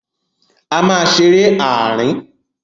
A máa ṣeré ààrin.